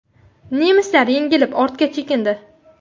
Nemislar yengilib, ortga chekindi.